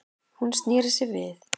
Hún sneri sér við.